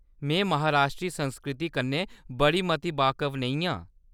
में महाराश्ट्री संस्कृति कन्नै बड़ी मती बाकफ नेईं आं।